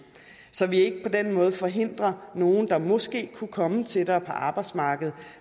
så vi ikke på den måde forhindrer nogen der måske kunne komme tættere på arbejdsmarkedet